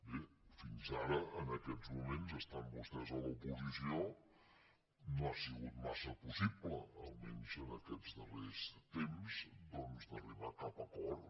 bé fins ara en aquests moments estant vostès a l’oposició no ha sigut massa possible almenys en aquests darrers temps doncs d’arribar a cap acord